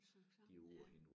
Sank sammen ja